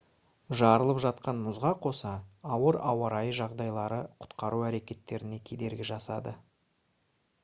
жарылып жатқан мұзға қоса ауыр ауа райы жағдайлары құтқару әрекеттеріне кедергі жасады